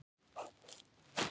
Þetta mun ganga einsog í sögu.